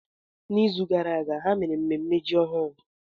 N'izu gara aga, ha mere mmemme ji ọhụrụ.